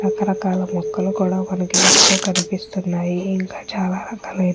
రక రకాల మొక్కలు కూడా మనకు ఇందులో కనిపెస్తునది కూడా.